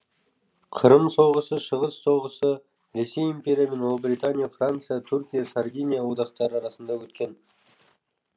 қырым соғысы шығыс соғысы ресей империя мен ұлыбритания франция түркия сардиния одақтары арасында өткен